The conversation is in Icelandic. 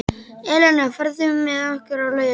Elína, ferð þú með okkur á laugardaginn?